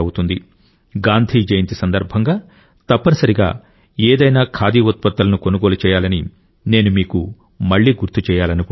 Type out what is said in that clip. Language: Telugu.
గాంధీ జయంతి సందర్భంగా తప్పనిసరిగా ఏదైనా ఖాదీ ఉత్పత్తులను కొనుగోలు చేయాలని నేను మీకు మళ్లీ గుర్తు చేయాలనుకుంటున్నాను